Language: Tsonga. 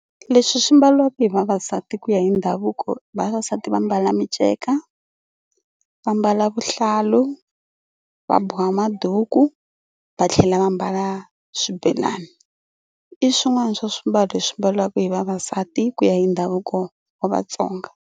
Leswi swi mbariwaka hi vavasati ku ya hi ndhavuko vavasati va mbala miceka, va mbala vuhlalu, va boha maduku, va tlhela va mbala swibelani. I swin'wana swa swimbalo leswi mbaliwaka hi vavasati ku ya hi ndhavuko wa Vatsonga.